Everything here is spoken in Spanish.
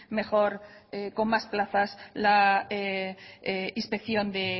mejor con más plazas la inspección de